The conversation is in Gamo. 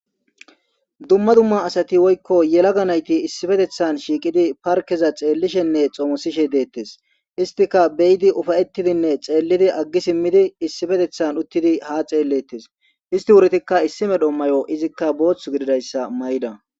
dumma dumma asati woykko yelaga nayti issifetethan shiiqidi parkeza xeellishenne xoomosishe deettes istika beyidi ufayettidinne xeellidi aggi simmidi issifetethan uttidi ha xeellettes isti wurtikka issime dhommayo izikka booththagididayssa may7da